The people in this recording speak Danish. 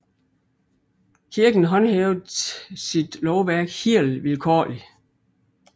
Kirken håndhævede sit lovværk helt vilkårligt